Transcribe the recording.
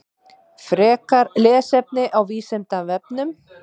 Frekara lesefni á Vísindavefnum: